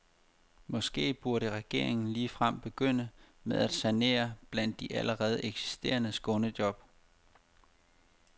Måske burde regeringen ligefrem begynde med at sanere blandt de allerede eksisterende skånejob.